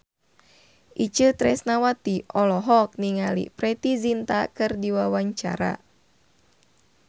Itje Tresnawati olohok ningali Preity Zinta keur diwawancara